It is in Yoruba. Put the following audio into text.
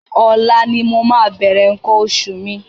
Ọ̀la ni mo máa bẹ̀rẹ̀ nǹkan oṣù mi.